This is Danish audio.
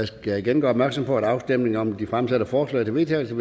skal igen gøre opmærksom på at afstemningen om de fremsatte forslag til vedtagelse